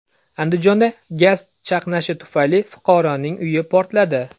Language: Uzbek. Andijonda gaz chaqnashi tufayli fuqaroning uyi portladi.